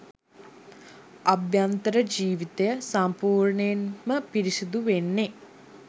අභ්‍යන්තර ජීවිතය සම්පූර්ණයෙන්ම පිරිසිදු වෙන්නෙ.